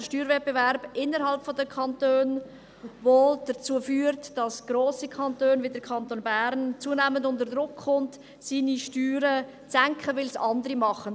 Der Steuerwettbewerb innerhalb der Kantone, der dazu führt, dass grosse Kantone wie der Kanton Bern, zunehmend unter Druck kommen, ihre Steuern zu senken, weil es andere machen.